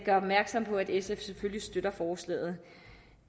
gøre opmærksom på at sf selvfølgelig støtter forslaget